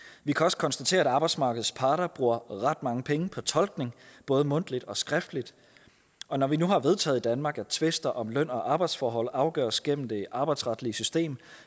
vi kan også konstatere at arbejdsmarkedets parter bruger ret mange penge på tolkning både mundtligt og skriftligt og når vi nu har vedtaget i danmark at tvister om løn og arbejdsforhold afgøres gennem det arbejdsretlige system